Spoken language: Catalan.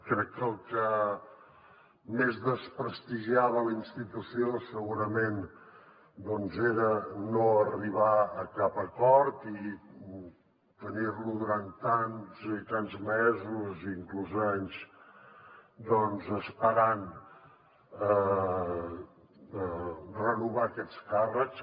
crec que el que més desprestigiava la institució segurament era no arribar a cap acord i tenir lo durant tants i tants mesos i inclús anys esperant a renovar aquests càrrecs